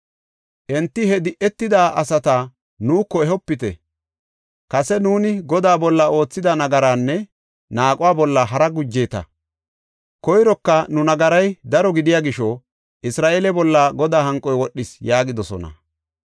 Enti “He di7etida asata nuuko ehopite! Kase nuuni Godaa bolla oothida nagaraanne naaquwa bolla haraa gujeeta. Koyroka nu nagaray daro gidiya gisho Isra7eele bolla Godaa hanqoy wodhis” yaagidosona.